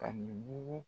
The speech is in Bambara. Ka mugu